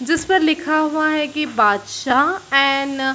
जिस पर लिखा हुआ है की बादशाह एंड --